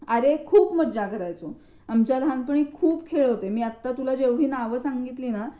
अरे खूप मज्जा करायचो. आमच्या लहानपणी खूप खेळ होते. मी आत्ता तुला जेवढी नावं सांगितली ना,